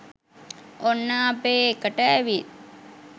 ඔන්න අපේ එකට ඇවිත්